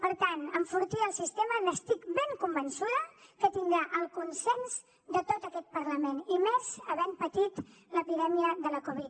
per tant enfortir el sistema n’estic ben convençuda que tindrà el consens de tot aquest parlament i més havent patit l’epidèmia de la covid